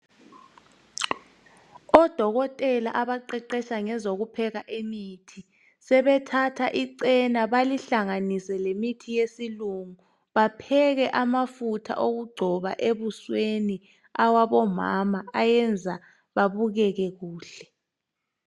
Odokotela abaqeqetsha ngezokupheka kwemithi sebethatha icena belihlanganise lemithi yesilungu, bapheke amafutha okugcoba ebusweni awabomama ayenza babukeke kuhle.